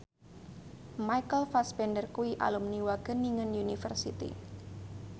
Michael Fassbender kuwi alumni Wageningen University